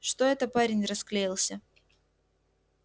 что это парень расклеился